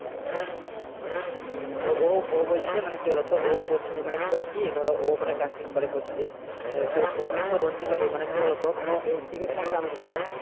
তো ও ও বলছে মানে কি বলতো ও coach মানে coach টি ধরো ও মানে practice করে coach দিয়ে তো ও কিন্তু ranji trophy মানে কি বলতো ধরো cricket খেলা এমন একটা জিনিস